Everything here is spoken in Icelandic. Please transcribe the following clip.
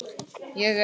Ég er.